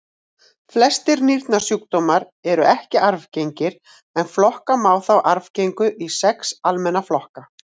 Flestir nýrnasjúkdómar eru ekki arfgengir en flokka má þá arfgengu í sex almenna flokka.